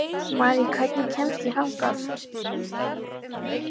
Marí, hvernig kemst ég þangað?